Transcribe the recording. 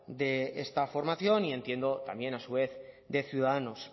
de esta formación y entiendo también a su vez de ciudadanos